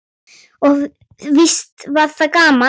Og víst var það gaman.